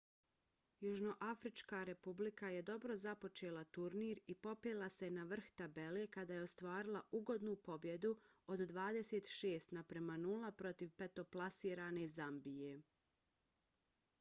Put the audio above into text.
južnoafrička republika je dobro započela turnir i popela se na vrh tabele kada je ostvarila ugodnu pobjedu od 26:00 protiv petoplasirane zambije